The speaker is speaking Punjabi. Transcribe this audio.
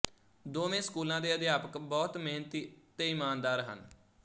ਦੋਵੇਂ ਸਕੂਲਾਂ ਦੇ ਅਧਿਆਪਕ ਬਹੁਤ ਮਿਹਨਤੀ ਤੇ ਇਮਾਨਦਾਰ ਹਨ